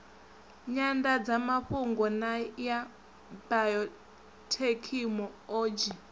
nyandadzamafhungo na ya biothekhino odzhi